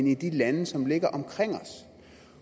end de lande som ligger omkring os